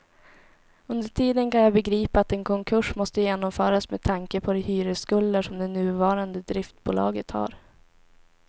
Under tiden kan jag begripa att en konkurs måste genomföras med tanke på de hyresskulder som det nuvarande driftbolaget har.